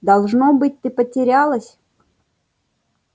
должно быть ты потерялась